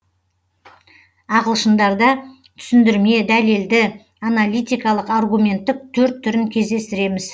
ағылшындарда түсіндірме дәлелді аналитикалық аргументтік төрт түрін кездестіреміз